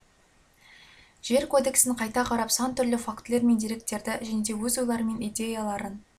жер кодексін қайта қарап сан түрлі фактілер мен деректерді және де өз ойлары мен идеяларын